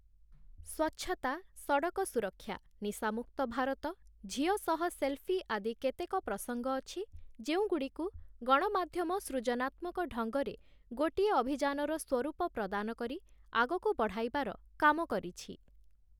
ସ୍ୱଚ୍ଛତା, ସଡ଼କ ସୁରକ୍ଷା, ନିଶାମୁକ୍ତ ଭାରତ, ଝିଅ ସହ ସେଲ୍‌ଫି ଆଦି କେତେକ ପ୍ରସଙ୍ଗ ଅଛି, ଯେଉଁଗୁଡ଼ିକୁ ଗଣମାଧ୍ୟମ ସୃଜନାତ୍ମକ ଢଙ୍ଗରେ ଗୋଟିଏ ଅଭିଯାନର ସ୍ୱରୂପ ପ୍ରଦାନ କରି ଆଗକୁ ବଢ଼ାଇବାର କାମ କରିଛି ।